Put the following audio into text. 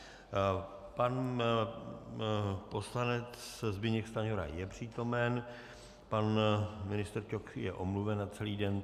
Pan poslanec Zbyněk Stanjura je přítomen, pan ministr Ťok je omluven na celý den.